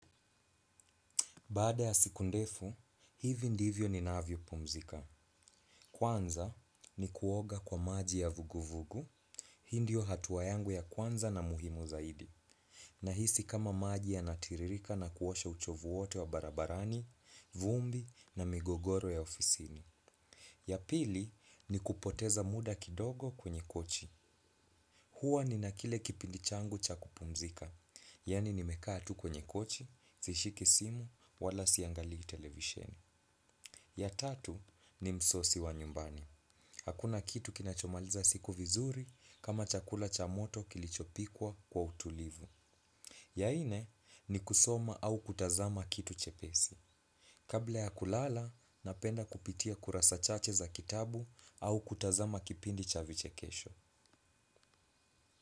Baada ya siku ndefu, hivi ndivyo ni navyo pumzika. Kwanza ni kuoga kwa maji ya vuguvugu, hii ndio hatuwa yangu ya kwanza na muhimu zaidi. Na hisi kama maji yanatiririka na kuosha uchovu wote wa barabarani, vumbi na migogoro ya ofisini. Ya pili ni kupoteza muda kidogo kwenye kochi. Hua ninakile kipindi changu cha kupumzika, yani nimekaa tu kwenye kochi, sishiki simu, wala siangalii televisheni. Ya tatu nimsosi wa nyumbani. Hakuna kitu kinachomaliza siku vizuri kama chakula cha moto kilichopikwa kwa utulivu. Ya nne ni kusoma au kutazama kitu chepesi. Kabla ya kulala, napenda kupitia kurasa chache za kitabu au kutazama kipindi cha vichekesho.